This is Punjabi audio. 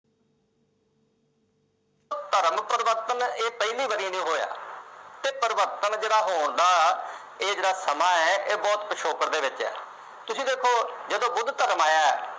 ਧਰਮ ਪਰਿਵਰਤਨ ਇਹ ਪਹਿਲੀ ਵਾਰੀ ਨਹੀਂ ਹੋਇਆ, ਇਹ ਪਰਿਵਰਤਨ ਜਿਹੜਾ ਹੋਣ ਦਾ ਇਹ ਜਿਹੜਾ ਸਮਾਂ ਹੈ ਇਹ ਬਹੁਤ ਪਿਛੋਕੜ ਦੇ ਵਿੱਚ ਹੈ, ਤੁਸੀਂ ਦੇਖੋ ਜਦੋਂ ਬੁੱਧ ਧਰਮ ਆਇਆ,